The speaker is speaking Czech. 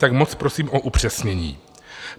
Tak moc prosím o upřesnění.